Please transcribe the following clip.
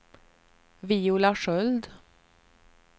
Viola Sköld